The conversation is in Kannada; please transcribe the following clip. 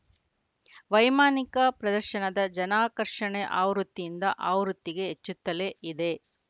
ವೈಮಾನಿಕ ಪ್ರದರ್ಶನದ ಜನಾಕರ್ಷಣೆ ಆವೃತ್ತಿಯಿಂದ ಆವೃತ್ತಿಗೆ ಹೆಚ್ಚುತ್ತಲೇ ಇದೆ